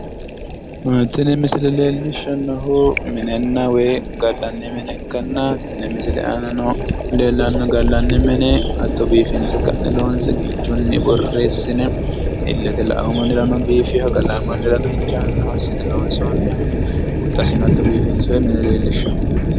Tini misile leellishshannohu minenna woy gallanni mine ikkanna, tenne misile aana leellanno gallanni mini hatto biiffinse ka'ne loonse kinchu borreessine illete la"awo mannirano biifewoha galla mannirano injiinoha assine loonsoonniho, huxxasino hatto biifinsoy mune leellishaawo.